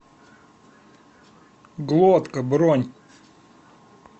глотка бронь